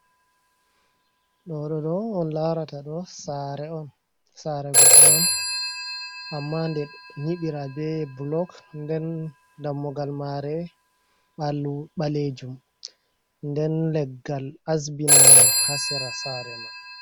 Ɗoɗoɗo onlarata ɗo. Sare'on. Sare godɗo'on amma nde nyiɓira be bulok. Nden dammugal maree ɓalwu ɓalejum, nden leggal asbinama ha Sera Sare man.